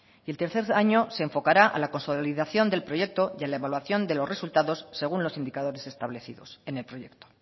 y el tercer año se enfocará a la consolidación del proyecto y a la evaluación de los resultados según los indicadores establecidos en el proyecto